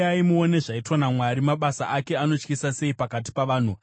Uyai muone zvaitwa naMwari, mabasa ake anotyisa sei pakati pavanhu!